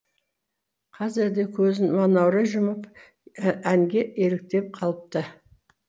қазір де көзін манаурай жұмып әнге елітіп қалыпты